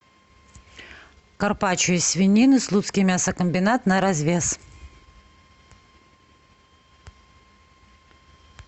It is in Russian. карпаччо из свинины слуцкий мясокомбинат на развес